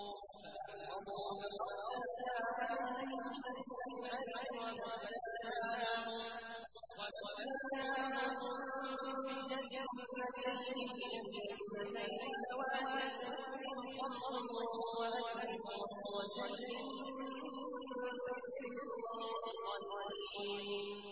فَأَعْرَضُوا فَأَرْسَلْنَا عَلَيْهِمْ سَيْلَ الْعَرِمِ وَبَدَّلْنَاهُم بِجَنَّتَيْهِمْ جَنَّتَيْنِ ذَوَاتَيْ أُكُلٍ خَمْطٍ وَأَثْلٍ وَشَيْءٍ مِّن سِدْرٍ قَلِيلٍ